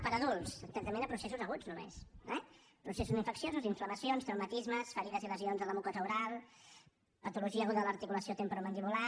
per a adults tractaments a processos aguts només eh processos infecciosos inflamacions traumatismes ferides i lesions a la mucosa oral patologia aguda de l’articulació temporomandibular